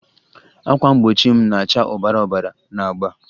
Ákwà mgbochi m na-acha obara obara na agba